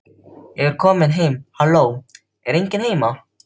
Ég er komin heim halló, er enginn heima?